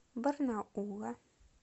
барнаула